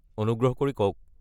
অনুগ্ৰহ কৰি কওক।